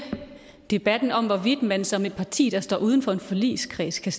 debatten om hvorvidt man som et parti der står uden for en forligskreds kan